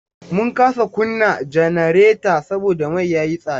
Mun kasa kunna janareta saboda mai ya yi tsada.